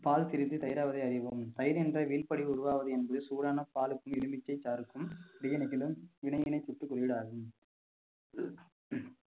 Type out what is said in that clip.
பால் திரிச்சி தயிராவதை அறிவோம் தயிர் என்ற உருவாவது என்று சூடான பாலுக்கும் எலுமிச்சை சாருக்கும் இடையினை சுட்டு குறியீடாகும்